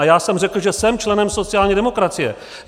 A já jsem řekl, že jsem členem sociální demokracie.